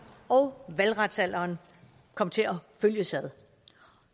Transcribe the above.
og valgretsalderen kom til at følges ad